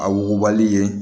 A wugubali ye